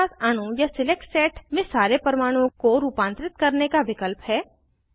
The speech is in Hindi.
हमारे पास अणु या सिलेक्ट सेट में सारे परमाणुओं को रूपांतरित करने का विकल्प है